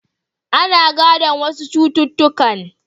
Ana gadon wasu cututtukan.